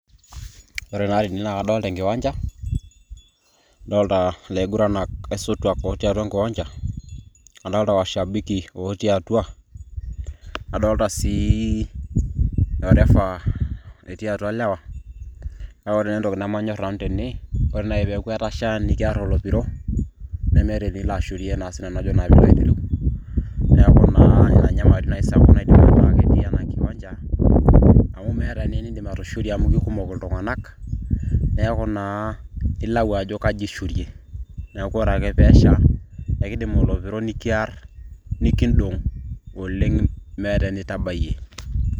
ore taa tene naa kadolita enkiwancha. kadolita ilaisotuak otii atua enkiwancha, adoolta washabiki otii atua, nadoolta sii orefa etii atua lewa, kake ore entoki naiba ore naai tene tenesha nemeta ewueji nilo ashurie, neeku ina enyamali naji natii ena kiwancha, amu meeta naa enidim atushurie amu kikumok iltunganak, neeku naa ilau ajo kaji ishurie. neeku ore ake pee esha nikidim olopiro nikiar, nikidong' oleng' meeta enitabayie.